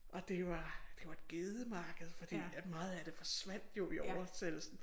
Og det var det var et gedemarked fordi at meget af det forsvandt jo i oversættelsen